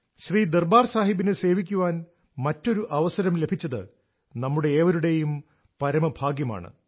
ശ്രീ ദർബാർ സാഹിബിനെ സേവിക്കാൻ മറ്റൊരു അവസരം ലഭിച്ചത് നമ്മുടെ ഏവരുടെയും പരമ ഭാഗ്യമാണ്